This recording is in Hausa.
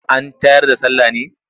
An tayar da sallah ne?